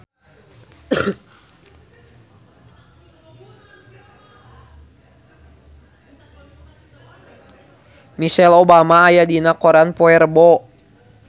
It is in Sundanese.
Michelle Obama aya dina koran poe Rebo